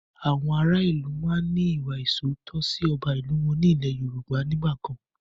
Àwọn ará ìlú máa ń ní ìwà ìsootọ́ sì ọba ìlú wọn ní ilẹ́ Yorùbá nígbàkan